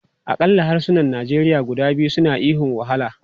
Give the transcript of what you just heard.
Akalla harsunan Nigeria guda biyu suna ihun 'wahala!'